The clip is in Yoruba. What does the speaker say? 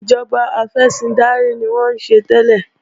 Ìjọba afẹ̀sìndarí ni wọ́n ń ṣe tẹ́lẹ̀